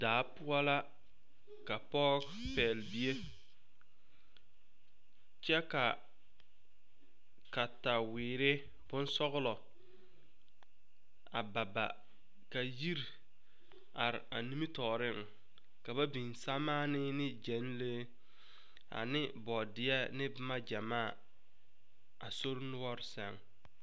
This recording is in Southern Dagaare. Daa poʊ la ka pɔgɔ pɛgle bie. Kyɛ ka katawiire boŋ sɔglɔ a ba ba. Ka yir are a nimi tooreŋ. Ka ba biŋ samaani ne gɛnlee, ane boodie , ane boma gyamaa a sor nuore sɛŋ